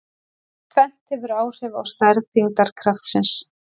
Tvennt hefur áhrif á stærð þyngdarkraftsins.